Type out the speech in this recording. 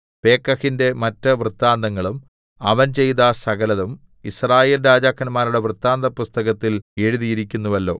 പേക്കഹിന്റെ മറ്റ് വൃത്താന്തങ്ങളും അവൻ ചെയ്ത സകലതും യിസ്രായേൽ രാജാക്കന്മാരുടെ വൃത്താന്തപുസ്തകത്തിൽ എഴുതിയിരിക്കുന്നുവല്ലോ